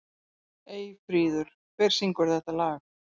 Eyfríður, hver syngur þetta lag?